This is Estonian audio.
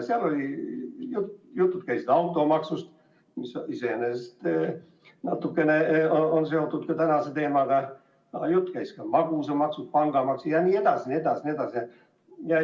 Tollal oli juttu automaksust, mis on natukene seotud ka tänase teemaga, aga jutt käis ka magusamaksust, pangamaksust jne.